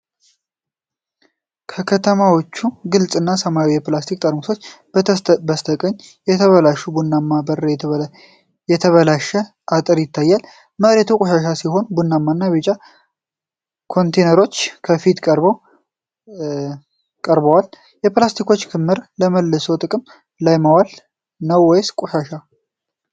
ከተከማቹ ግልጽ እና ሰማያዊ የፕላስቲክ ጠርሙሶች በስተቀኝ፣ የተበላሸ ቡናማ በር እና የተበላሸ አጥር ይታያሉ። መሬቱ ቆሻሻ ሲሆን ቡናማ እና ቢጫ ኮንቴይነሮች ከፊት ቀርበው ቀርበዋል። የፕላስቲክ ክምር ለመልሶ ጥቅም ላይ ማዋል ነው ወይስ ቆሻሻ?